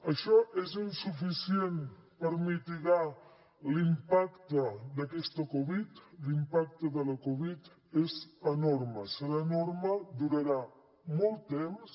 això és insuficient per mitigar l’impacte d’aquesta covid l’impacte de la covid és enorme serà enorme durarà molt temps